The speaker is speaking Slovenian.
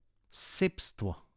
Sebstvo.